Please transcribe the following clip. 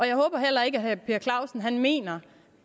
jeg håber heller ikke at herre per clausen mener